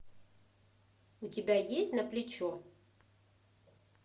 у тебя есть на плечо